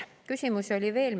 Küsimusi oli veel.